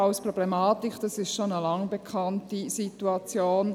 Die Problematik des Borkenkäfers ist eine seit Langem bekannte Situation.